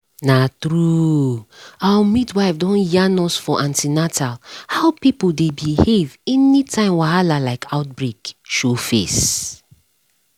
na true our midwife don yarn us for an ten atal how people dey behave anytime wahala like outbreak show face.